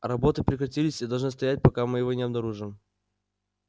работы прекратились и должны стоять пока мы его не обнаружим